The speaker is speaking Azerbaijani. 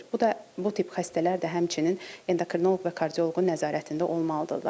Bu da bu tip xəstələr də həmçinin endokrinoloq və kardioloqun nəzarətində olmalıdırlar.